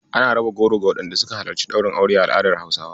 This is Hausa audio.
Ana raba goro ga waɗanda suka halarci ɗaurin aure a al'adar Hausawa.